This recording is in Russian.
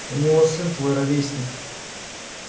у него сын твой ровесник